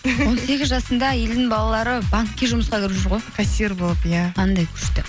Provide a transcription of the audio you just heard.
он сегіз жасында елдің балалары банкке жұмысқа кіріп жүр ғой кассир болып иә қандай күшті